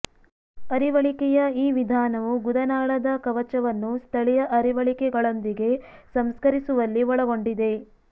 ಅರಿವಳಿಕೆಯ ಈ ವಿಧಾನವು ಗುದನಾಳದ ಕವಚವನ್ನು ಸ್ಥಳೀಯ ಅರಿವಳಿಕೆಗಳೊಂದಿಗೆ ಸಂಸ್ಕರಿಸುವಲ್ಲಿ ಒಳಗೊಂಡಿದೆ